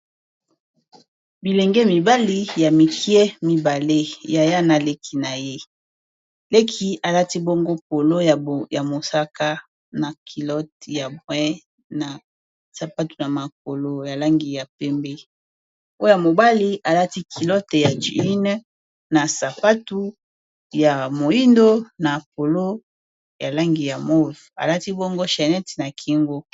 Bilenge mibali ya mikie mibale ya yana leki na ye, leki alati bongo polo ya mosaka na kilote ya boin na sapatu na mapolo ya langi ya pembe. Oyo ya mobali alati kilote ya djune na sapatu ya moindo na polo ya langi ya move alati bongo channete na kingo.